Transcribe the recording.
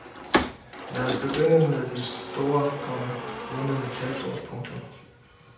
Lad os begynde ved det store, komma runde metalbord. punktum